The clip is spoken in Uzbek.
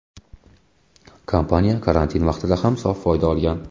Kompaniya karantin vaqtida ham sof foyda olgan.